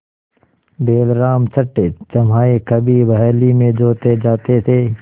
बैलराम छठेछमाहे कभी बहली में जोते जाते थे